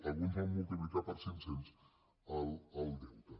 alguns van multiplicar per cinc cents el deute